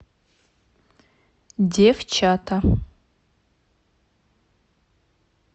девчата